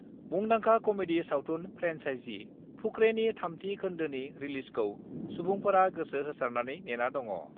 मुंदांखा कमेडि सावथुन फ्रेन्चाइजि 'फुकरे' नि 3 थि खोन्दोनि रिलिजखौ सुबुंफोरा गोसो होसारनानै नेना दङ।